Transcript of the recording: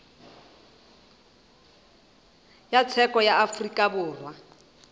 ya tsheko ya afrika borwa